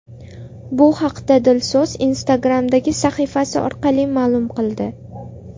Bu haqda Dilso‘z Instagram’dagi sahifasi orqali ma’lum qildi.